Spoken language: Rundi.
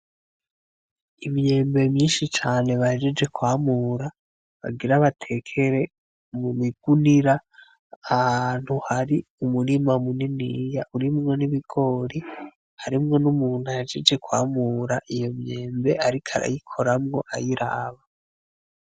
Imyembe myinshi cane bahejeje kwamura bagira batekere mu migunira ahantu hari Umurima muniniya urimwo n’ibigori harimwo n’umuntu ahejeje kwamura iyo myembe ariko arayikoramwo ayiraba.